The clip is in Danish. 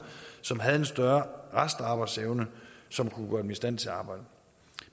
som havde en større restarbejdsevne som kunne gøre dem i stand til at arbejde